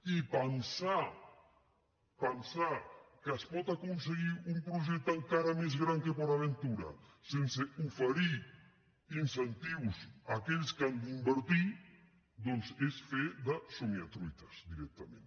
i pensar pensar que es pot aconseguir un projecte encara més gran que port aventura sense oferir incentius a aquells que han d’invertir doncs és fer de somiatruites directament